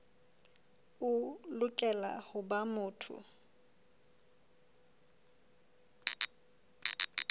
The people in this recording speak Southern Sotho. o lokela ho ba motho